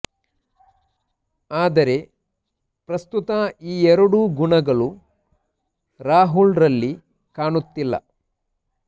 ಆದರೆ ಪ್ರಸ್ತುತ ಈ ಎರಡೂ ಗುಣಗಳು ರಾಹುಲ್ ರಲ್ಲಿ ಕಾಣುತ್ತಿಲ್ಲ